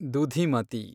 Dudhimati